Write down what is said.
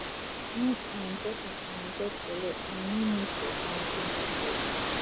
when um person um get bele im no need to um drink at all